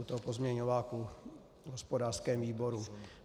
U toho pozměňováku v hospodářském výboru.